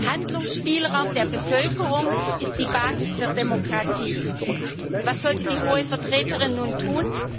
Handlungsspielraum der Bevölkerung ist die Basis der Demokratie. Und was sollte die Hohe Vertreterin nun tun?